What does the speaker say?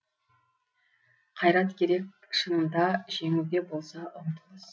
қайрат керек шынында жеңуге болса ұмтылыс